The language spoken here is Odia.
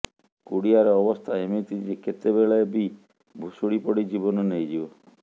କୁଡ଼ିଆର ଅବସ୍ଥା ଏମିତି ଯେ କେତେବେଳେ ବି ଭୁଶୁଡ଼ି ପଡ଼ି ଜୀବନ ନେଇଯିବ